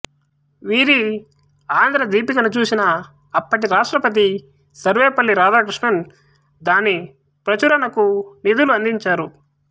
వీరి ఆంధ్ర దీపికను చూసిన అప్పటి రాష్ట్రపతి సర్వేపల్లి రాధాకృష్ణన్ దాని ప్రచురణకు నిధులు అందించారు